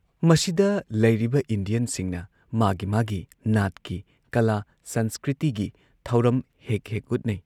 ꯃꯁꯤꯗ ꯂꯩꯔꯤꯕ ꯏꯟꯗꯤꯌꯟꯁꯤꯡꯅ ꯃꯥꯒꯤ ꯃꯥꯒꯤ ꯅꯥꯠꯀꯤ ꯀꯂꯥ ꯁꯪꯁꯀ꯭ꯔꯤꯇꯤꯒꯤ ꯊꯧꯔꯝ ꯍꯦꯛ ꯍꯦꯛ ꯎꯠꯅꯩ